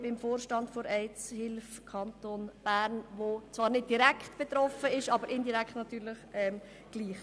: Ich bin im Vorstand der Aids Hilfe Bern (AHBE), die zwar nicht direkt, aber indirekt betroffen ist.